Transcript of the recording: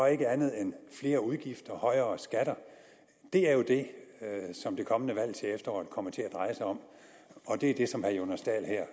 ikke andet end flere udgifter og højere skatter det er jo det som det kommende valg til efteråret kommer til at dreje sig om og det er det som herre jonas dahl her